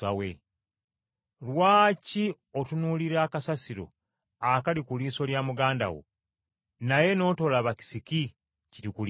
“Lwaki otunuulira akasasiro akali ku liiso lya muganda wo, naye n’otolaba kisiki kiri ku liiso lyo?